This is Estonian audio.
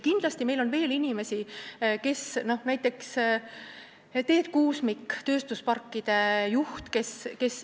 Kindlasti on meil veel selliseid inimesi, näiteks Teet Kuusmik, tööstusparkide juht.